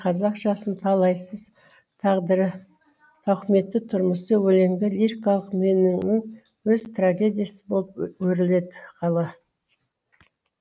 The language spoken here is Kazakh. қазақ жасының талайсыз тағдыры тауқыметті тұрмысы өлеңде лирикалық меннің өз трагедиясы болып өріледі қала